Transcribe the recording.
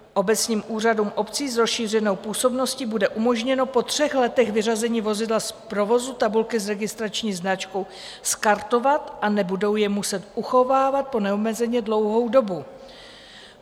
Obecním úřadům obcí s rozšířenou působností bude umožněno po třech letech vyřazení vozidla z provozu tabulky s registrační značkou skartovat a nebudou je muset uchovávat po neomezeně dlouhou dobu.